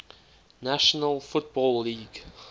national football league